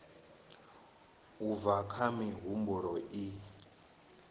u bva kha mihumbulo i